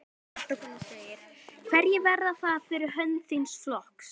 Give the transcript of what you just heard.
Fréttakona: Hverjir verða það fyrir hönd þíns flokks?